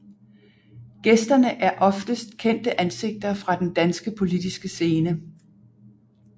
Gæsterne er oftest kendte ansigter fra den danske politiske scene